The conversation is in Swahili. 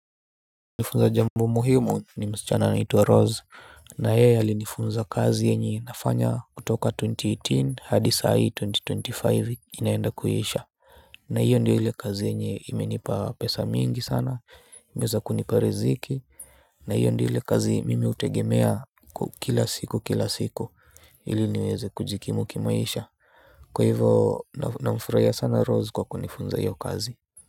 Nifunza jambo muhimu ni msichana anaitwa Rose na yeye alinifunza kazi yenye nafanya kutoka twenty-eighteen hadi sai twenty-twenty-five inaenda kuisha. Na hiyo ndio ile kazi yenye imenipa pesa mingi sana imeweza kunipea riziki na hiyo ndio ile kazi mimi utegemea kila siku kila siku hili niweze kujikimu kimaisha. Kwa hivyo namfurahia sana Rose kwa kunifunza hiyo kazi.